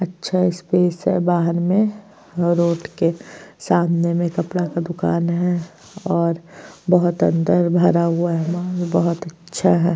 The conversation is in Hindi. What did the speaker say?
अच्छा स्पेस है बाहर में और रोड के सामने में कपड़ा का दुकान है और बहुत अंदर भरा हुआ मॉल है बहुत अच्छा।